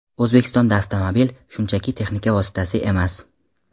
O‘zbekistonda avtomobil – shunchaki texnika vositasi emas.